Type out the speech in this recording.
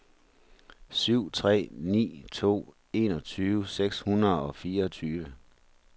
syv tre ni to enogtyve seks hundrede og fireogtyve